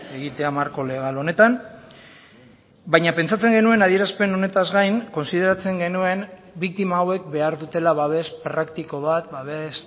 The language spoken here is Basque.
egitea marko legal honetan baina pentsatzen genuen adierazpen honetaz gain kontsideratzen genuen biktima hauek behar dutela babes praktiko bat babes